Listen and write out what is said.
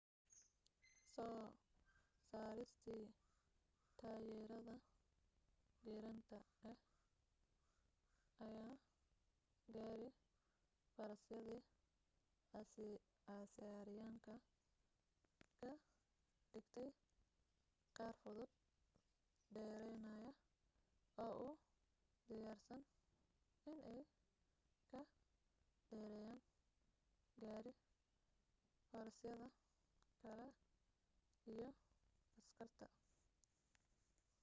soo saaristii taayirada giraanta ah ayaa gaari-farasyadii asiiriyaanka ka dhigtay qaar fudud dheeraynaya oo u diyaarsan inay ka dheereeyaan gaari farasyada kale iyo askarta